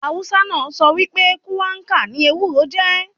Hausa náà sọ wípé Shuwaka ni ewúro n jẹ́.